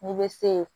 N'i bɛ se